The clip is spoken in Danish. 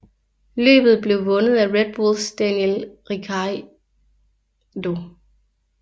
Løbet blev vundet af Red Bulls Daniel Ricciardo